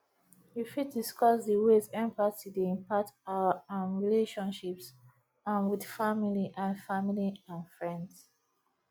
you fit discuss di ways empathgy dey impact our um relationships um with family and family and friends